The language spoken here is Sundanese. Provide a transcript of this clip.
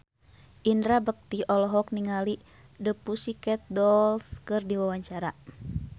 Indra Bekti olohok ningali The Pussycat Dolls keur diwawancara